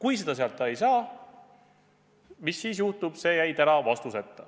Mis juhtub siis, kui sealt raha ei saa, jäi täna vastuseta.